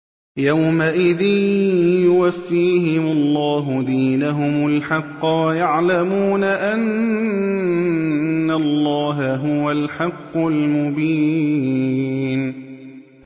يَوْمَئِذٍ يُوَفِّيهِمُ اللَّهُ دِينَهُمُ الْحَقَّ وَيَعْلَمُونَ أَنَّ اللَّهَ هُوَ الْحَقُّ الْمُبِينُ